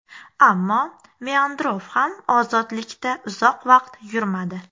Ammo Meandrov ham ozodlikda uzoq vaqt yurmadi.